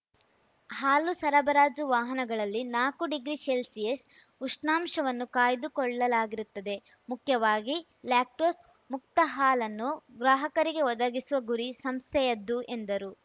ಹಾಲು ಸರಬರಾಜು ವಾಹನಗಳಲ್ಲಿ ನಾಕು ಡಿಗ್ರಿ ಶೆಲ್ಸಿಯಸ್‌ ಉಷ್ಣಾಂಶವನ್ನು ಕಾಯ್ದುಕೊಳ್ಳಲಾಗಿರುತ್ತದೆ ಮುಖ್ಯವಾಗಿ ಲ್ಯಾಕ್ಟೋಸ್‌ ಮುಕ್ತ ಹಾಲನ್ನು ಗ್ರಾಹಕರಿಗೆ ಒದಗಿಸುವ ಗುರಿ ಸಂಸ್ಥೆಯದ್ದು ಎಂದರು